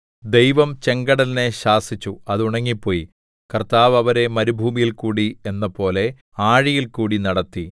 ദൈവം ചെങ്കടലിനെ ശാസിച്ചു അത് ഉണങ്ങിപ്പോയി കർത്താവ് അവരെ മരുഭൂമിയിൽക്കൂടി എന്നപോലെ ആഴിയിൽക്കൂടി നടത്തി